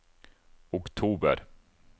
oktober